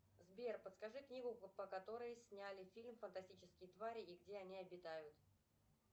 сбер подскажи книгу по которой сняли фильм фантастические твари и где они обитают